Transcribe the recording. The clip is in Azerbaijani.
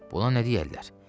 Buna nə deyərlər?